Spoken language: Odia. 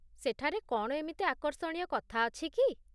ସେଠାରେ କ'ଣ ଏମିତି ଆକର୍ଷଣୀୟ କଥା ଅଛି କି?